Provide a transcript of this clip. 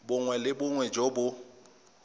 bongwe le bongwe jo bo